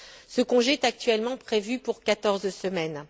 Ce congé est actuellement prévu pour quatorze semaines.